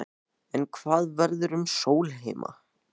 En hvað verður um Sólheima?